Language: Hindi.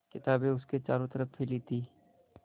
किताबें उसके चारों तरफ़ फैली थीं